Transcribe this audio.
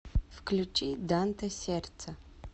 включи данте сердце